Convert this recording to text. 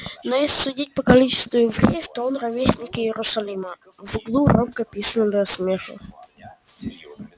ну если судить по количеству евреев то он ровесник иерусалима в углу робко пискнули от смеха